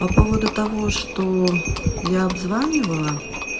по поводу того что я обзванивала